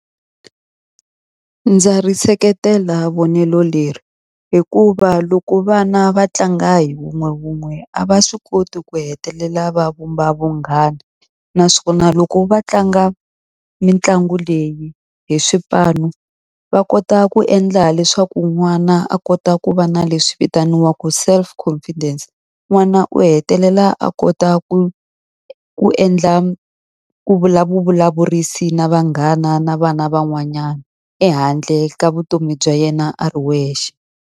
Ndza ri seketela vonelo leri. Hikuva loko vana va tlanga hi wun'wewun'we a va swi koti ku hetelela va vumba vunghana. Naswona loko va tlanga mitlangu leyi hi swipanu va kota ku endla leswaku n'wana a kota ku va na leswi vitaniwaka self confidence. N'wana u hetelela a kota ku ku endla vulavurisi na vanghana na vana van'wanyana, ehandle ka vutomi bya yena a ri wexe.